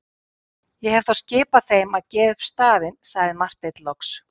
Ég hef þá skipað þeim að gefa upp staðinn, sagði Marteinn loks.